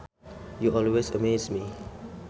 You always amaze me